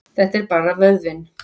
Þetta er bara vöðvinn.